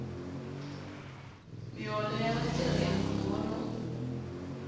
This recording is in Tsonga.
miholo ya vatirhi ya miholo